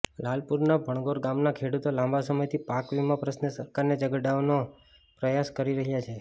લાલપુરના ભણગોર ગામના ખેડૂતો લાંબા સમયથી પાક વિમા પ્રશ્ર્ને સરકારને જગાડવાનો પ્રયાસ કરી રહ્યા છે